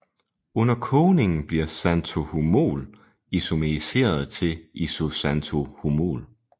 Under kogningen bliver xanthohumol isomeriseret til isoxanthohumol